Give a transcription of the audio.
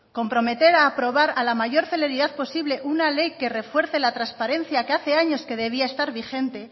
comprometer a aprobar a la mayor celeridad posible una ley que refuerce la transparencia que hace años que debía de estar vigente